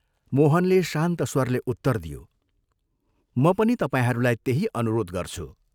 मोहनले शान्त स्वरले उत्तर दियो, "म पनि तपाईहरूलाई त्यही अनुरोध गर्छु।